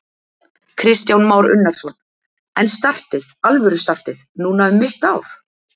Kristján Már Unnarsson: En startið, alvöru startið, núna um mitt ár?